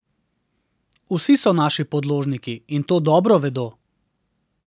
Vsi so naši podložniki, in to dobro vedo.